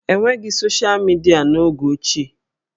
E nweghị soshịa midịa n'oge ochie